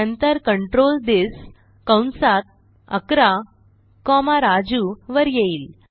नंतर control this कंसात 11 comma Raju वर येईल